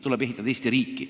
Tuleb ehitada Eesti riiki.